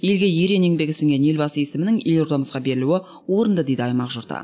елге ерен еңбегі сіңген елбасы есімінің елордамызға берілуі орынды дейді аймақ жұрты